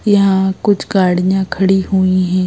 यहाँ कुछ गाड़ियाँ खड़ी हुई है।